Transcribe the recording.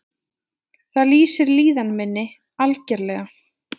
Það lýsir líðan minni, algerlega.